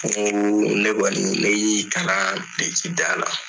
ne kɔni ne y'i kalan birikidada la.